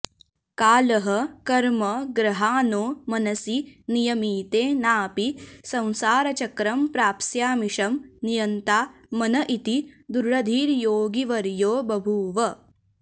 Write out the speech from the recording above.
कालः कर्म ग्रहा नो मनसि नियमिते नापि संसारचक्रं प्राप्स्यामीशं नियन्ता मन इति दृढधीर्योगिवर्यो बभूव